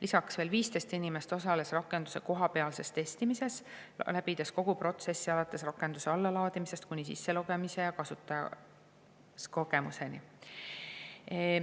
Lisaks osales 15 inimest rakenduse kohapealses testimises, läbides kogu protsessi alates rakenduse allalaadimisest kuni sisselogimise ja kasutajakogemuseni.